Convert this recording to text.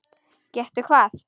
Gettu hvað?